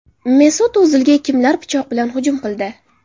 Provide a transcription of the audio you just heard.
Mesut O‘zilga kimlar pichoq bilan hujum qildi?